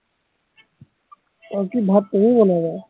অ কি ভাত তুমি বনাবা